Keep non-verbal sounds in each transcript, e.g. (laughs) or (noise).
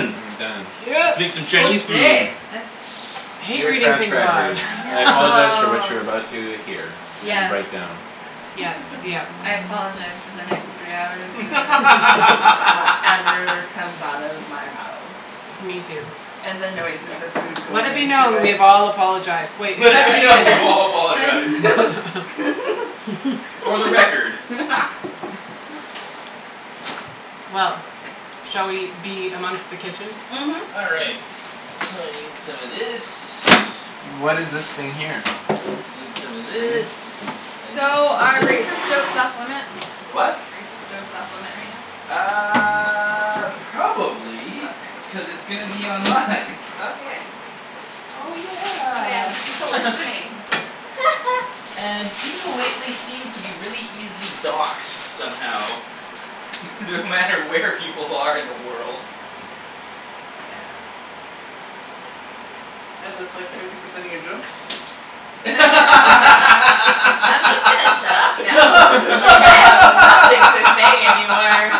And we're done. Yes! Making Chinese food. (inaudible) That's I hate Dear reading things transcribers aloud. (laughs) I apologize for what you are about to hear and Yes. write down. Yep. Yep. I apologize for the next three hours of (laughs) whatever comes out of my mouth. Me too. And the noises of food Let going it be into known. We it. have all apologized. Wait, Let except it be known. Ian! We've all apologized! For the record. Well. Shall we be amongst the kitchen? Mhm. All right, so I need some of this. What is this thing here? Need some of this, I need So, some of are racist this. jokes off limit? The what? Racist jokes off limit right now? Uh Probably, Okay. cuz it's gonna be online. Okay. Oh Oh yeah, yeah! there's people (laughs) listening. (laughs) And people lately seem to be really easily doxed somehow. (laughs) No matter where people are in the world. Yeah. Hey, that's like fifty percent of your jokes. I'm just gonna shut up now. Like, I have nothing to say any more.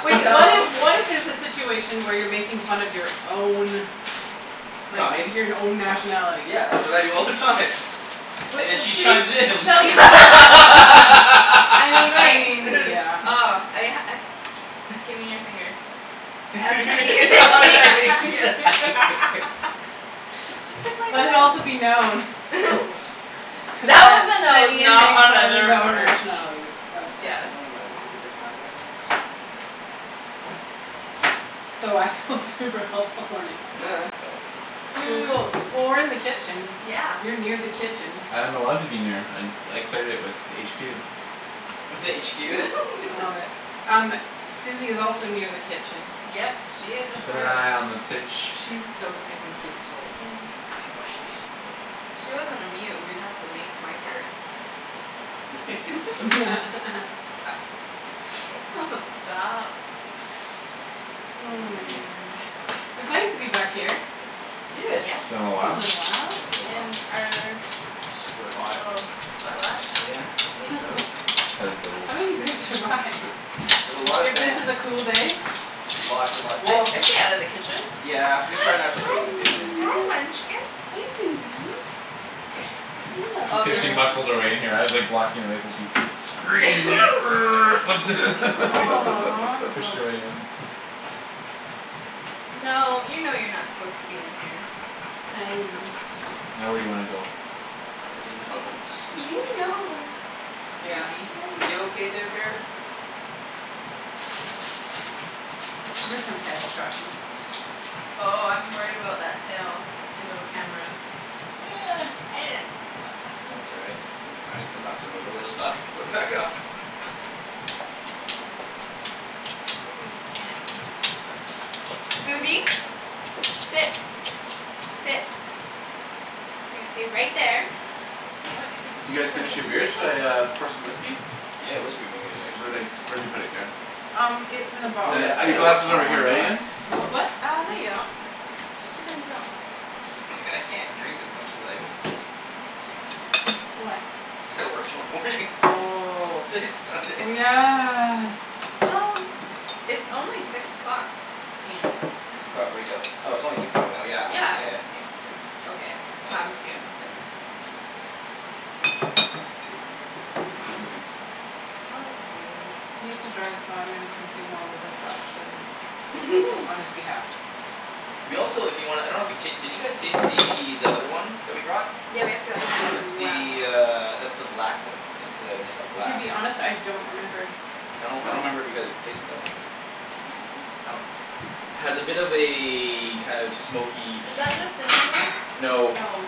Wait, what if, what if there's a situation where you're making fun of your own like, Kind? your n- own nationality? Yeah, that's what I do all the time. (inaudible) And then she use chimes this. in. (laughs) I mean, I wait. mean, yeah. oh. I I, give me your finger. (laughs) (inaudible) Just pick my Let it also nose. be known (laughs) That That, was a that nose, Ian makes not fun of his another own part. nationality. Yes. Oh my (inaudible) word. (inaudible) So, I feel super helpful right now. (laughs) (noise) Cool, cool. Well, we're in the kitchen, Yeah. you're near the kitchen. I am allowed to be near, I, I cleared it with HQ. With (laughs) HQ. I love it. Um, Suzie is also near the kitchen. Yep, she is a Keepin' an part of this. eye on the sitch. She is so stinkin' cute today. Oh she's If (inaudible) she wasn't a mute, we would have to make, mic her. Yes! (inaudible) (laughs) (laughs) Oh stop! (noise) Oh Hmm. man. It's nice to be back here. Yeah. Yeah. It's been a It's been while. a little while. Been a little while. In our Super hot. little sweat lodge. Yeah, no doubt. Hello. How do you guys survive? With a lot of If this is a fans. cool day? Lots and lot- well I stay out of the kitchen. Yeah, we try not to cook in the kitchen. Hi, munchkin! Hey, Suzie! She escaped, she muscled her way in here, I was like, blocking her way, so she squeezed in err, lifted (laughs) Aw pushed her way (noise) in. No, you know you're not supposed to be in here. Hi. Now, where do you wanna go? It doesn't know. You (laughs) know. (inaudible) (laughs) Suzie? You okay there, bear? Give her some pets, Joshy. Oh, I'm worried about that tail and those cameras. (noise) I didn't think about that. That's all right. It will be fine. If it knocks it over, well just, like, put it back up! But we can't (inaudible) Suzie! (noise) Sit! Sit! You're gonna stay right there. What? You get to Did you stay guys on the finish your kitchen? beers? Shall I uh (inaudible) pour some whiskey? Yeah, whiskey would be good Where'd actually. I, where'd you put it, Kara? Um, it's in the Oh box. And, yeah, I your gotta glass work is tomorrow over here, morning, right, don't Ian? I? What, what? Uh, no, you don't. Damn. Just pretend you don't. (laughs) Like, I can't drink as much as I would, would like to. Why? Cuz I gotta work tomorrow morning. (laughs) Oh, It's like oh Sunday. yeah. Well it's only six o'clock. Ian. Six o'clock wake-up? Oh it's only six o'clock now. Yeah. Yeah, Yeah, y- yeah. you're okay, to have a few. Yep. Oh you. He has to drive so I'm gonna consume all of what Josh doesn't. Fo- on (laughs) his behalf. We also, if you wanna, I don't know if you ta- you guys taste the, that other one that we brought? Yeah, we have the other one as It's well. the uh that's the black one. That's the Nikka To Black. be honest, I don't remember. I don't, I don't remember if you guys tasted that one. I don't know. That one's, has a bit of a kind of smoky, Is peaty- that the cinnamon one? No. No.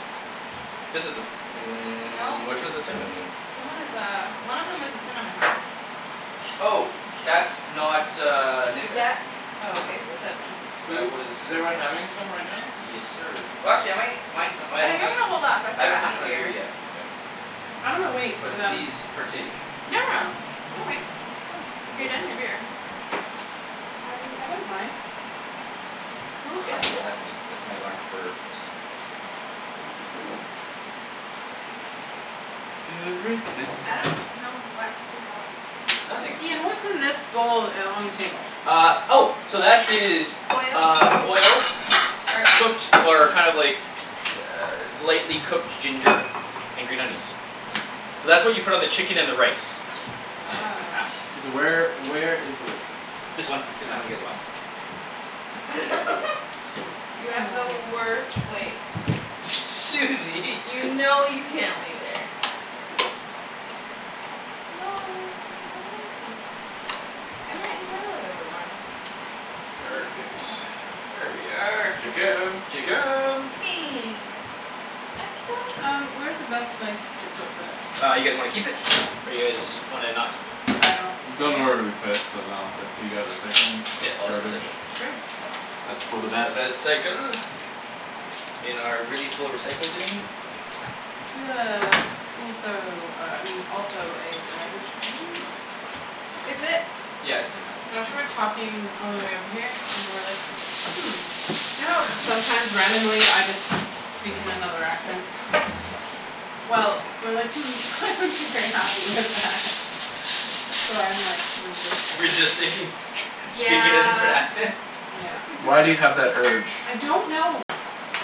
This is the ci- , mm, No. which one's the cinnamon one? Someone has a, one of them has a cinnamon (inaudible) Oh! That's not uh Nikka. Oh okay, what's that then? That Who, was is everyone something having else. some right now? Yes, sir. Watch it, mate! Mine's the (inaudible) I I think I'm going to hold off, I still haven't got half finished a my beer beer. yet. K. I'm gonna wait for But them. please, partake. No, no, no, don't wait. If you're done your beer, just Have it if you I don't want. mind. Who Hi is there. that? That's me, that's my alarm for this. Everything. I don't know what to help Nothing. with. Ian, what's in this bowl uh on the table? Ah, oh! So that is Oil. uh oil, Er cooked or kind of like lightly cooked ginger, and green onions. So that's what you put on the chicken and the rice. Yeah, it's fantastic. Wow. K, so where, where is the whiskey? This one is the one you guys bought. (laughs) You have the worst place. Aw. (noise) Suzie! You know you can't lay there. No! I like it. I'm right in the middle of everyone! Perfect. Yeah. There we are. Chicken! Chicken! Chicken! Atika Um, where is the best place to put this? Uh, you guys wanna keep it? Or you guys wanna, not keep it? I don't care? Don't know where we would put it, so no. If you got recycling or garbage? Sure. It's for the best. reh-cycle. In our really full recycle bin. Do you No one have has to know. also uh I mean, also a garbage bin? Is it? Yeah, it's taken out. Josh and I were talking on our way over here, and were like, "Hmm, you know how sometimes randomly, I just speak in another accent?" Well, we were like, "Hmm, they wouldn't be very happy with that." So I'm, like, resisting. Resisting? Speaking in a different Yeah. accent? Yeah. Why do you have that urge? I don't know!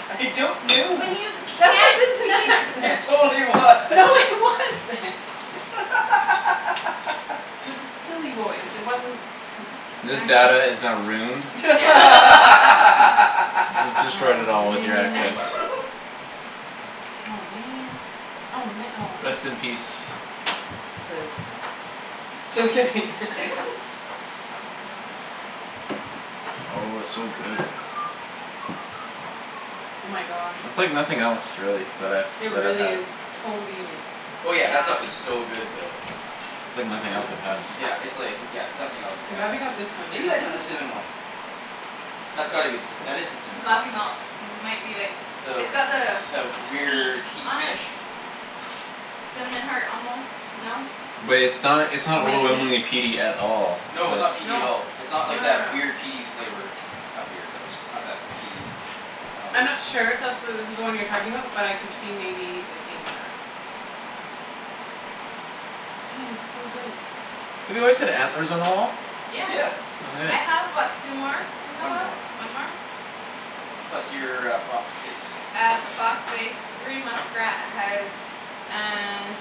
I don't know! When you That can't wasn't be an It accent! (laughs) yourself! totally No, it was! (laughs) wasn't! (laughs) (laughs) It was a silly voice. It wasn't an This accent. data is now ruined. (laughs) (laughs) (laughs) You destroyed it Aw, all with your accents. man! (laughs) Aw, man! Oh ma- oh Rest in thanks. peace. Chiz. Just kidding! (laughs) (laughs) Oh, so good. Oh (noise) my gosh. That's like nothing else, really, that I've, It that I've really had. is totally unique. Oh yeah, that stuff Yeah. is so good It's though. awesome. It's like nothing else I've had. Yeah, it's like, yeah, it's nothing else like I'm I've glad we had got this too. one, and Maybe not that the is the other cinnamon one. one? That's gotta be the cinna- , that is the cinnamon Coffey one. Malt, might be like, it's got the The, the weird key beak on it? finish? Cinnamon heart almost. No? Wait, it's not, it's not Maybe. overwhelmingly peaty at all. No, it's not peaty at No. all. It's No, not like no, that weird, no. peaty flavor. Not weird, but just it's not that peaty, kinda I'm like- not sure if that's the, this is the one you're talking about, but I could see maybe it being that. Hey, it's so good. Have you always had antlers on the wall? Yeah. Yeah. I have what, two more? In my One house? more. One more? Yep, one more. Plus your uh fox face. I have a fox face, three muskrat heads and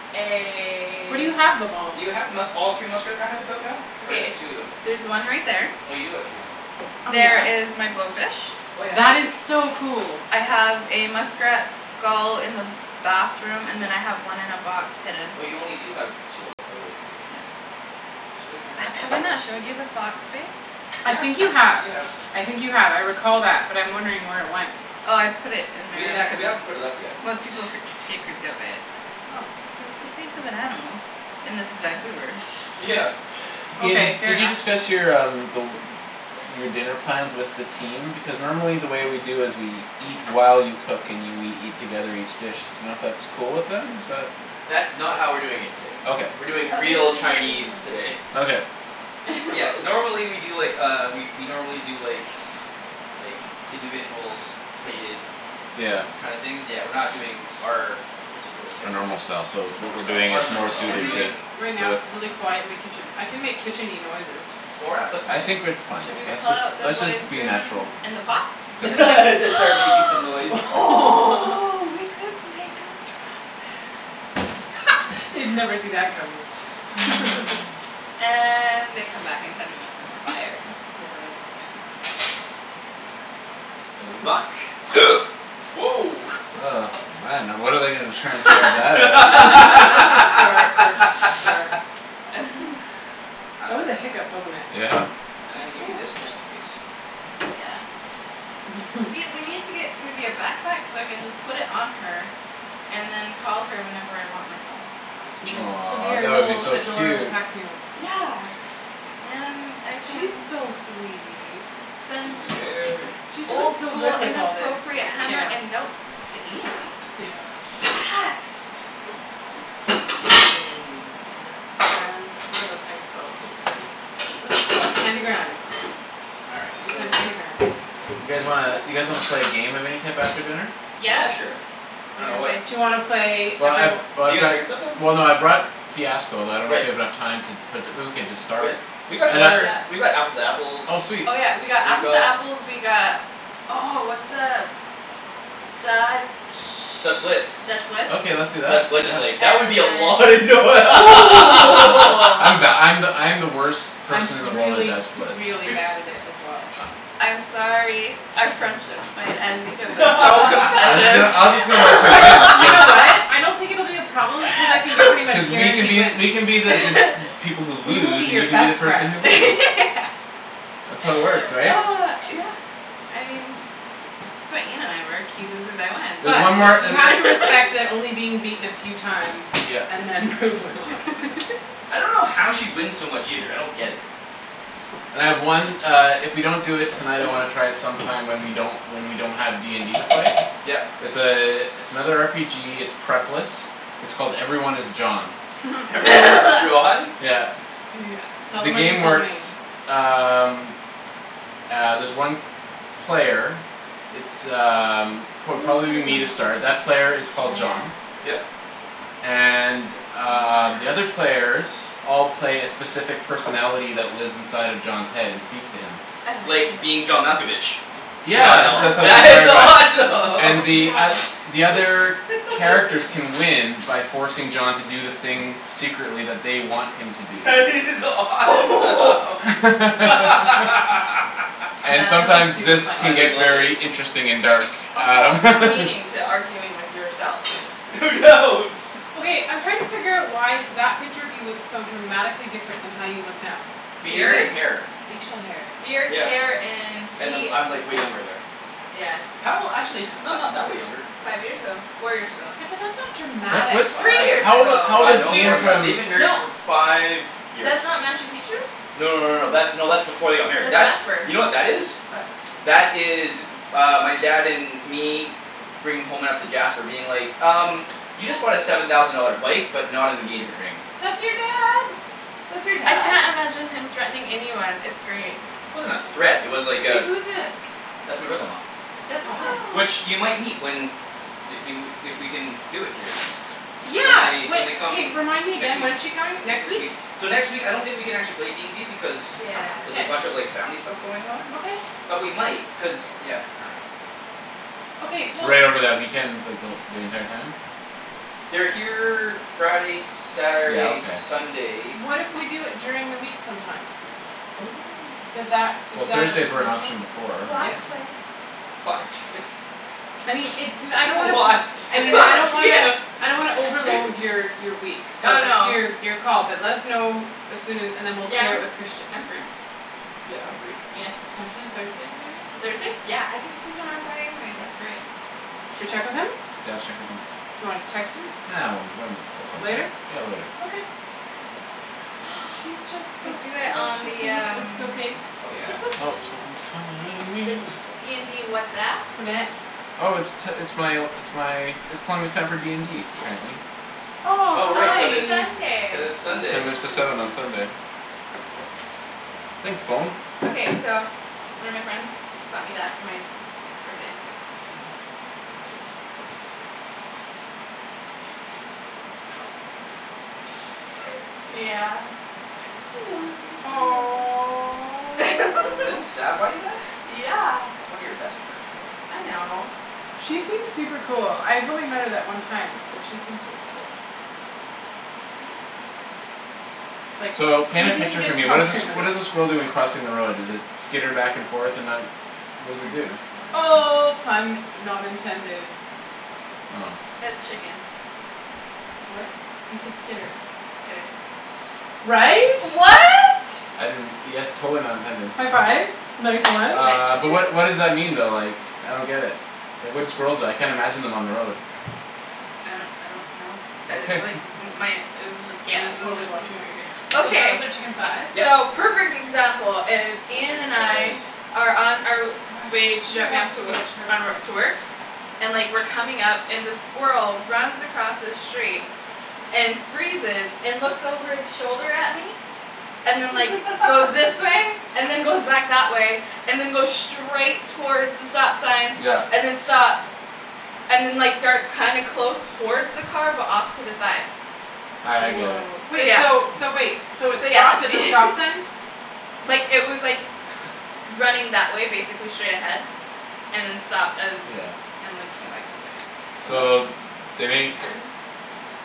Where do a- you have them all? Do you have the musk- all three muskrat uh heads out now? Or just two of them? There's one right there. Oh, you do have three of them out. Oh There yeah? is my blowfish. Oh yeah, and That is blowfish. so cool. I have a muskrat skull in the bathroom, and then I have one in a box, hidden. Oh, you only do have two out of the three. Yeah. (inaudible) thought Have, you have I had all not, shown three you out. the fox face? I think you Yeah, have, you have. I think you have. I recall that but I'm wondering where it went. Oh, I put it in my We didn't ha- , we haven't put it up yet, (inaudible) I most don't people think. creep, get creeped out by it. Oh, its a face of an animal. And this is Vancouver. Yeah. Ian, did, Okay, fair did you enough. discuss your um the, your dinner plans with the team? Because normally the way we do is we eat while you cook and you, we eat together each dish. D'you know if that's cool with them? Is that That's not how we're doing it today. Okay. We're doing Oh real Chinese ooh. today. Okay. Yes, (laughs) normally we do, like, uh we we normally do, like, like, individuals, plated Yeah. kind of things, but we're not doing our particular A type of normal style, so normal what're style, doing is our normal more style, I we're suited feel to, like, doing- right now, with- it's really quiet in the kitchen. I can make kitchen-y noises. Well, we're not cooking I yet. think we're, it's fine. Should we Let's pull just, out the let's just wooden be spoon natural. that's in the pots? (laughs) We Except could for- like Just start making some noise. (noise) oh, we could make a drum band. (laughs) They'd never see that coming. (laughs) And, they come back in ten minutes, and we're fired. Yeah, right. Yeah. Vuck. (noise) Woah! Oh man, now what are they gonna transcribe that as? (laughs) Start, burps, slur. (laughs) (laughs) That was a hiccup, wasn't it? Yeah. I'm gonna give you Ooh this just in that's- case. Yeah. Mhm. See, (laughs) we need to get Suzie a backpack so I can just put it on her and then call her whenever I want my phone. She's like, she'll be Aw, your that would be little so adorable cute. pack mule. Yeah! And I She's can- so sweet. Then- Susie bear. She's doing Old so school good with all this inappropriate hammer chaos. and notes to Ian. Yes! (laughs) Mm. Nana. Grams? What are those things called? What are those called? Candy grams. All right, We so- canned candy grams. You guys wanna, you guys wanna play a game of any type after dinner? Yeah, Yes! sure. I dunno, what- Do you wanna play Well I've, every- Did oh I've you guys got, bring somethin'? well no, I brought Fiasco but I don't know if we Great. have enough time to put the, but we could just start. Great. We've got some And I other, we've got Apples to Oh Apples, we've sweet. Oh yeah, we got Apples To got Apples, we got, oh what's the Dutch, Dutch Blitz. Dutch Blitz? Okay, let's do that, Dutch Blitz is yeah. like, that would be a lot of And noi- then I'm (laughs) the, (laughs) I'm the, I'm the worst I'm person in the world at really Dutch Blitz really bad at it as well. I'm sorry, our friendships might end because I'm so I'm just gonna, competitive. I'm just gonna let you I win, know! You cuz know (laughs) what? I don't think it will be a problem because I think you're pretty cuz much we can guaranteed be, wins. we can be the, the (laughs) people who lose, and you can be the person who wins. (laughs) That's how it works, right? Ah, yeah. I mean that's why Ian and I work, he loses, I win There's But, one more you have uh to respect (laughs) that only being beaten a few times Yep. and then. (inaudible) I don't know how she wins so much either. I don't get it. And I have one uh if we don't do it tonight I wanna try it sometime when we don't, when we don't have D and D to play. Yep. It's a, it's another R P G, it's prep-less, its called 'Everyone Is John.' 'Everyone Is (laughs) John'? Yeah. Tell The them Yes. what you game told works me. um ah there's one player, it's um pro- Ooh, probably will be me to start, that player is called yeah. John. Yep. And um, the other Smart. players all play a specific personality that lives inside of John's head and speaks to him. I love it. Like 'Being John Malkovich.' Yeah, Wow, I that's what it's that like is inspired by. it. And the Yes. oth- awesome! the other characters can win by forcing John to do the thing secretly that they want him to (laughs) do. That is awesome! (laughs) (laughs) And That sounds sometimes, super this funny. can I get love it! very interesting and dark. A whole Um. new (laughs) meaning to arguing with yourself. No doubt! Okay, I'm trying to figure out why that picture of you looks so dramatically different than how you look now. Beard and hair. Facial hair. Beard, hair Yeah, and and he- I'm, I'm like way younger there. Yes. How, actually h- no, not that way younger. Five years ago. Four years ago. Yeah, but that's not dramatic. Three Five, years How old i- ago, how old five, is cuz no, we more Ian were- than that. from They've been married No for five years. That's not Machu Picchu? No, no, no, no. That's, no, that's before they got married. That's That's, Jasper. you know what that is? What? That is uh my dad and me bringing home (inaudible) Jasper being like, "Um, you just bought a seven thousand dollar bike, but not an engagement ring." That's your dad! That's your I dad? can't imagine him threatening anyone. It's great. Wasn't a threat, it was like Wait, a- who's this? That's my brother-in-law. That's. (inaudible) Which, you might meet when they, they wou, if we can do it here. When Yeah! they, when they come Remind me next again. week. When's she coming? Next (inaudible) week? So next week, I don't think we can actually play D and D because Yeah. there's K. a bunch of like family stuff going on. Okay. But we might, cuz, yeah, I dunno. Okay, we'll Right over that weekend, like the wh- the entire time? They're here Friday, Yeah, Saturday, okay. Sunday. What if we do it during the week sometime? Oh. Does that, is Well, that a Thursday's were an potential? option before, right? Plot twist. Plot twist. I mean, it's no- , I don't wanna put, Plot I twist! mean, I don't Yeah! wanna, I don't wanna overload (laughs) your your week. So, Oh it's no. your, your call but let us know as soon a- and then we'll Yeah, clear it I'm, with Christian. I'm free. Yeah, I'm free. Yeah. Potentially Thursday, maybe? Thursday? Yeah! I get to sleep in on Friday anyway. That's great. Should we check with him? Yeah, let's check with him. Do you wanna text him? Ah, when, when, at some point. Later? Yeah, later. Okay. She's just (noise) We so could do it on precious! Does the this, is this um okay? Oh yeah. It's okay. Oh! Someone's calling me. the D and D WhatsApp? Who dat? Oh it's t- it's my, it's my, it's telling me it's time for D and D, apparently Oh, Oh how right, Oh, cuz it's, nice! cuz it's it's Sunday. Ten Sunday. minutes til seven on Sunday. Thanks, phone! Okay, so, one of my friends bought me that for my birthday. (noise) Yeah. She knows me pretty well. Didn't (laughs) Aw. Sab buy you that? Yeah! That's one of your best friends, love. I know. She seems super cool. I've only met her that one time, but she seems really cool. Oh yeah? Like, So, paint a we didn't picture for get me. to What talk is a s- very much. what is a squirrel doing crossing the road? Does it skitter back and forth and not, what does it do? Oh, pun not intended. Oh. It's chicken. What? He said skitter. (inaudible) right? Right? I didn't, yes totally not intended. High fives. Nice ones. Uh but what what (inaudible) does that mean though like, I don't get it, like what do squirrels do, I can't imagine on them on the road. I don't I don't know. okay Uh like (laughs) my it was just I'm yeah totally watching what you're (noise) doing. So Okay, those are chicken thighs? Yep. so perfect example is So Ian chicken and I thighs. are on our Gosh, way it to sure drop me off helps to if wo- you have sharp on wo- knives. to work. And like we're coming up and the squirrel runs across the street and freezes and looks over its shoulder at me, and then like goes (laughs) this way, and then goes back that way and then goes straight towards the stop sign Yeah. and then stops and then like darts kinda close towards the car but off to the side. Ah I get it. Wow. So Wait yeah. so, so wait, so it So yeah stopped that's at the me (laughs) stop sign? Like it was like, running that way basically straight ahead and then stopped as Yeah. and like came back this way. So So that's they make interesting.